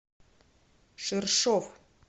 ширшов